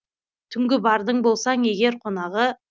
түнгі бардың болсаң егер қонағы